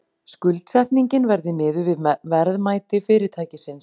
Skuldsetningin verði miðuð við verðmæti fyrirtækisins